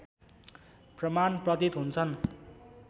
प्रमाण प्रतीत हुन्छन्